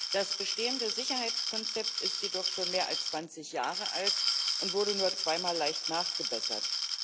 Das bestehende Sicherheitskonzept ist jedoch schon mehr als 20 Jahre alt und wurde nur zweimal leicht nachgebessert.